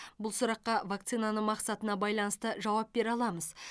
бұл сұраққа вакцинаның мақсатына байланысты жауап бере аламыз